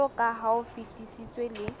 jwaloka ha o fetisitswe le